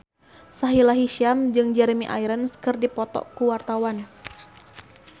Sahila Hisyam jeung Jeremy Irons keur dipoto ku wartawan